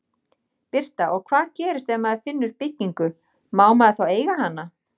Birta: Og hvað gerist ef maður finnur byggingu, má maður þá eiga hana?